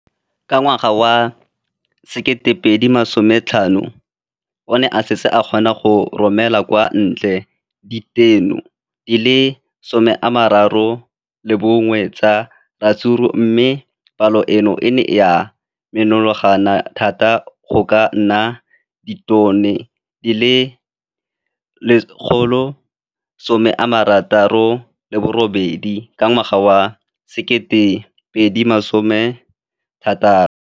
Ka ngwaga wa 2015, o ne a setse a kgona go romela kwa ntle ditone di le 31 tsa ratsuru mme palo eno e ne ya menagana thata go ka nna ditone di le 168 ka ngwaga wa 2016.